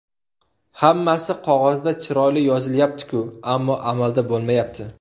Hammasi qog‘ozda chiroyli yozilyapti-ku, ammo amalda bo‘lmayapti.